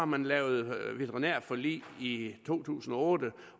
man lavet veterinærforlig i to tusind og otte